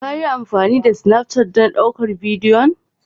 Ka yi amfani da Snafcat don ɗaukar bidiyon?